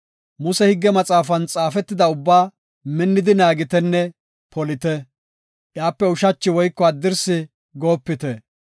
“Muse higge maxaafan xaafetida ubbaa minnidi naagitenne polite; iyape ushachi woyko haddirsi goopite.